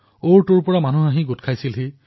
কিমান লোক মুকলি স্থানলৈ ওলাই আহিছিল